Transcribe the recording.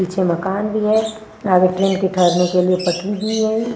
पीछे मकान भी है आगे ट्रेन के ठहरने के लिए पटरी भी है।